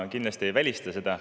Ma kindlasti ei välista seda.